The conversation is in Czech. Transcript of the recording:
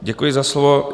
Děkuji za slovo.